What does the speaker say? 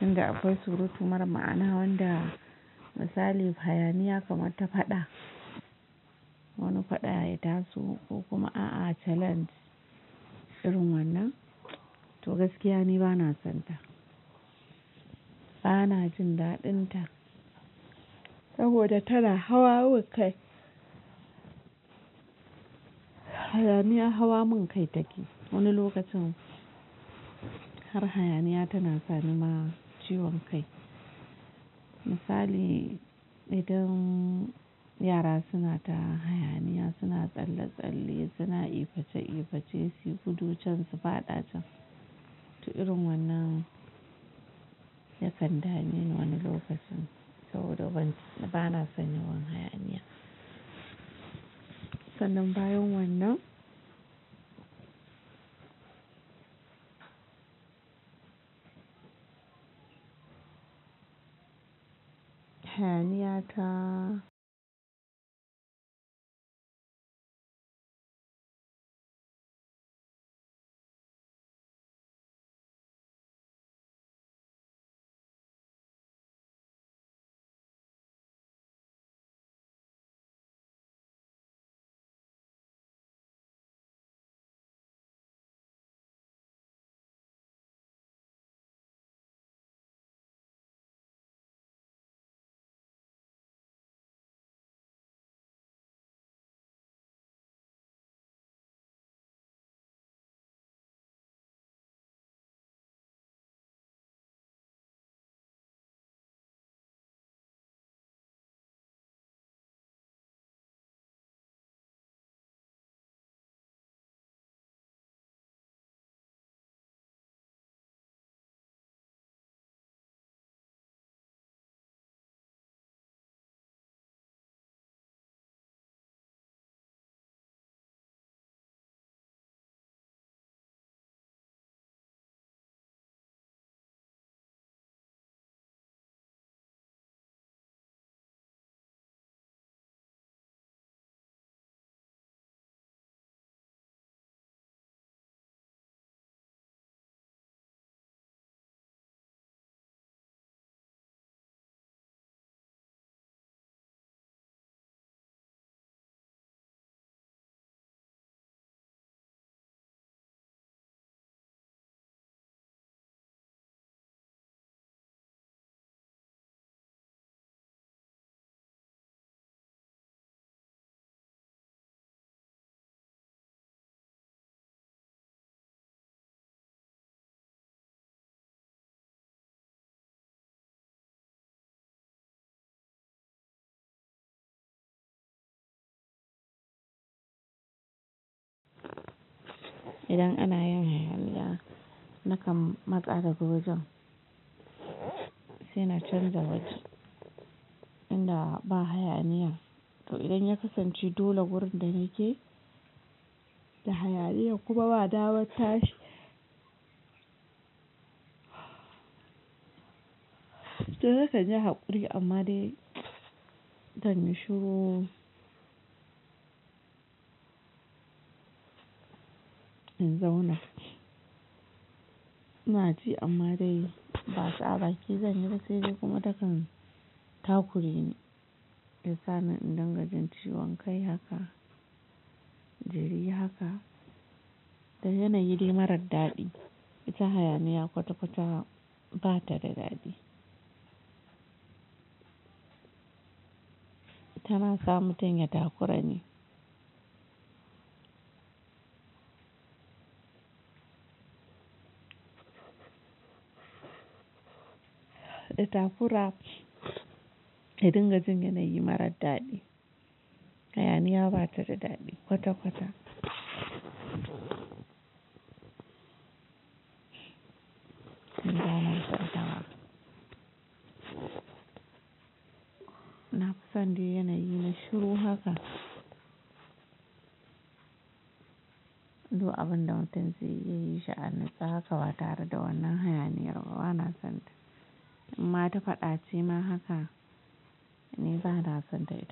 Inda akwai surutu mara ma'ana wanda misali hayaniya kamar ta faɗa. Wani faɗa ya taso ko kuma a'a challenge, irin wannan, to gaskiya ni ba na sonta. Bana jin daɗinta, saboda tana hawa mun kai. Hayaniya hawa min kai take. Wani lokacin, har hayaniya tana sani ma ciwon kai. Misali idan yara suna ta hayaniya, suna tsalle-tsalle, suna iface-iface suyi gudu can su faɗa can, to irin wannan, ya kan dame ni wani lokacin saboda ban, bana son yawan hayaniya. Sannan bayan wannan, hayaniya ta idan ana yin hayaniya nakan matsa daga wajen, sai na canza waje, inda ba hayaniyan. To idan ya kasance dole gurin da nake, da hayaniya kuma ba dama tashi, to nakan yi haƙuri amma dai, zan yi shiru, in zauna. Naci amma dai, basa baki zan yi ba sai dai kuma takan, takureni ya sa min inda gajin ciwon kai haka, jiri haka da yanay dai mara dadi. Ita hayaniya kwata-kwata ba ta da dadi. Tana sa mutum ya takurani. Da ta kura ka dinga jin yana yi mara dadi. Hayaniya ba ta da dadi kwata-kwata. Ni ba na son ta ma. Na fi son dai yanayi mai shiru haka. Duk abunda da mutum zai iya yi shi a nutse haka, ba tare da wannan hayaniya ba bana sonta. In ma ta faɗa ce ma haka, ni bana sonta ita.